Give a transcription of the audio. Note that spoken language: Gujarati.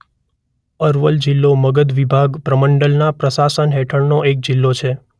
અરવલ જિલ્લો મગધ વિભાગ પ્રમંડલના પ્રશાસન હેઠળનો એક જિલ્લો છે.